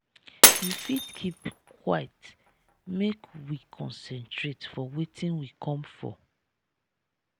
you fit keep quite make we concentrate for wetin we come for.